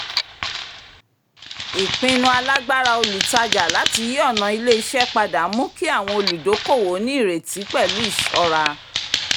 ìpinnu alágbára olùtajà láti yí ọ̀nà ilé-iṣẹ́ padà mú kí àwọn olùdokoowo ní ìrètí pẹ̀lú ìṣọ́ra